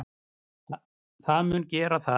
Það mun gera það.